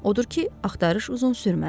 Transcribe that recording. Odur ki, axtarış uzun sürmədi.